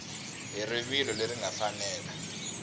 hi rivilo leri nga fanela